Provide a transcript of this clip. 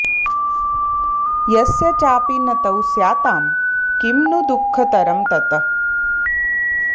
यस्य चापि न तौ स्यातां किं नु दुःखतरं ततः